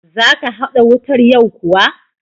Za ka haɗa wutar yau kuwa?